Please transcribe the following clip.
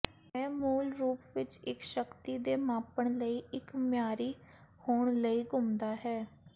ਇਹ ਮੂਲ ਰੂਪ ਵਿਚ ਸ਼ਕਤੀ ਦੇ ਮਾਪਣ ਲਈ ਇੱਕ ਮਿਆਰੀ ਹੋਣ ਲਈ ਘੁੱਸਦਾ ਹੈ